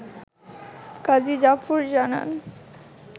কাজী জাফর জানান